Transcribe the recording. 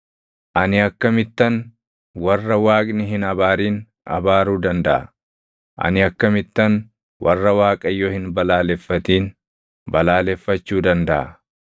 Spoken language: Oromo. Ani akkamittan warra Waaqni hin abaarin abaaruu dandaʼa? Ani akkamittan warra Waaqayyo hin balaaleffatin balaaleffachuu dandaʼa?